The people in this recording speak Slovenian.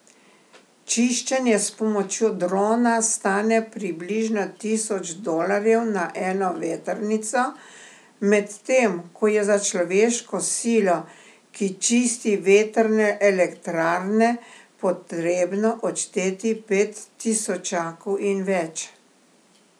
Čiščenje s pomočjo drona stane približno tisoč dolarjev na eno vetrnico, medtem ko je za človeško silo, ki čisti vetrne elektrarne, potrebno odšteti pet tisočakov in več.